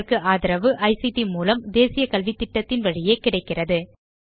இதற்கு ஆதரவு ஐசிடி மூலம் தேசிய கல்வித்திட்டத்தின் வழியே கிடைக்கிறது